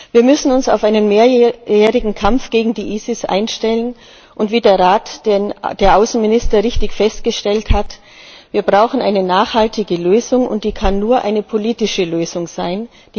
Wir müssen uns auf einen mehrjährigen Kampf gegen die ISIS einstellen, und wie der Rat der Außenminister richtig festgestellt hat Wir brauchen eine nachhaltige Lösung, und die kann nur eine politische Lösung sein.